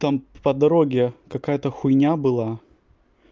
там по дороге какая-то хуйня была